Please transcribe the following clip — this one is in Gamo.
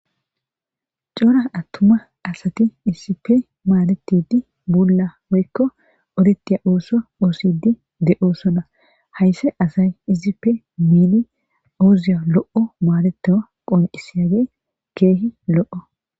Coora attuma asati issipe maadetidi buulla woykko odetiya ooso oosidi de7osona haysse asay issipe miini ooziya lo7o maadetoa qoncisiyage keehi lo7o.